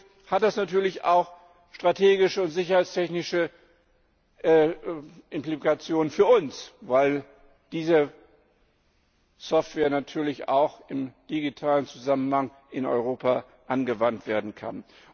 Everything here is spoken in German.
Übrigens hat das natürlich auch strategische und sicherheitstechnische Implikationen für uns, weil diese Software natürlich auch im digitalen Zusammenhang in Europa angewandt werden kann.